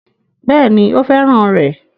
Bẹ́ẹ̀ ni, ó fẹ́ràn rẹ̀